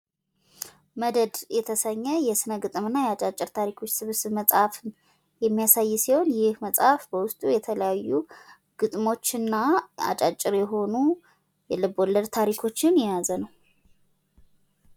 መደድ የተሰኘ የስነ ግጥምና አጫጭር ታሪኮች ስብስብ መጽሃፍ የሚያሳይ ሲሆን ይህ የመጽሃፍ በውስጡ የተለያዩ ግጥሞችና አጫጭር የሆኑ የልብ ወለድ ታሪኮችን የያዘ ነው።